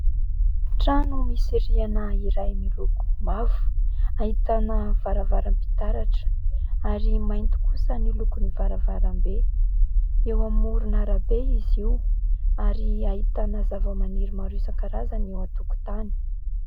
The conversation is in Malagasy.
Trano misy rihana iray miloko mavo ahitana varavaram-pitaratra ary mainty kosa ny lokon'ny varavarambe. Eo amoron'arabe izy io ary ahitana zavamaniry maro isan-karazany eo an-tokontany.